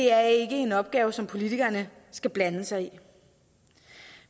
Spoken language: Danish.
er en opgave som politikerne skal blande sig i